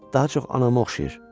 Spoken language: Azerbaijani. daha çox anama oxşayır.